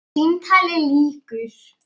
Símtali lýkur.